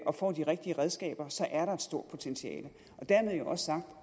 og får de rigtige redskaber er der et stort potentiale og dermed jo også sagt